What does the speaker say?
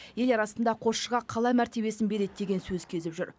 ел арасында қосшыға қала мәртебесін береді деген сөз кезіп жүр